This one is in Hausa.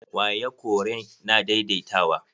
Waya koren na daidaitawa.